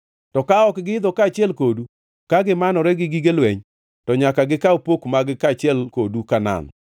To ka ok giidho kaachiel kodu ka gimanore gi gige lweny, to nyaka gikaw pok mag-gi kaachiel kodu Kanaan.”